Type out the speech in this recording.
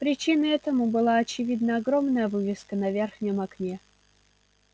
причиной этому была очевидно огромная вывеска на верхнем окне